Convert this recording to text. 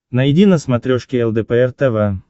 найди на смотрешке лдпр тв